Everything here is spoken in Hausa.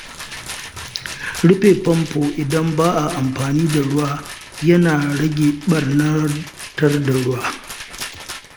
Rufe famfo idan ba a amfani da ruwa yana rage ɓarnatar da ruwa.